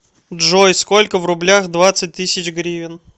джой сколько в рублях двадцать тысяч гривен